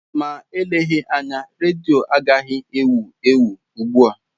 Ma eleghị anya, redio adịghị ewu ewu ugbu a.